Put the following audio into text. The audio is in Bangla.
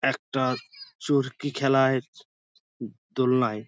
একটা চরকি খেলায় উউ দোলনায়--